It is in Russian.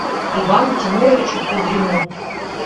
ивану тимуровичу кудрину